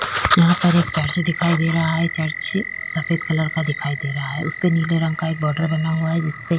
यहा पर एक चर्च दिखाई दे रहा है चर्च सफ़ेद कलर का दिखाई दे रहा है उसपे नीले रंग का एक बॉर्डर बना हुआ है जिसपे --